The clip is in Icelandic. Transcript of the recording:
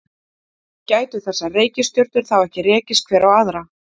Gætu þessar reikistjörnur þá ekki rekist hver á aðra?